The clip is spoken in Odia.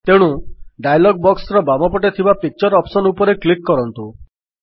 ତେଣୁ ଡାୟଲଗ୍ ବକ୍ସର ବାମ ପଟେ ଥିବା ପିକ୍ଚର ଅପ୍ସନ୍ ଉପରେ କ୍ଲିକ୍ କରନ୍ତୁ